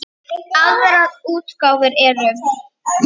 Aðrar útgáfur eru